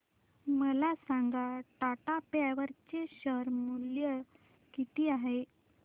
मला सांगा टाटा पॉवर चे शेअर मूल्य किती आहे